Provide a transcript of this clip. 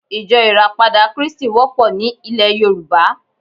Ijó ìràpadà krístì wópò ni ilè Yorùbá